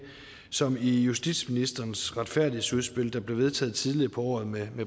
som i justitsministerens retfærdighedsudspil der blev vedtaget tidligere på året med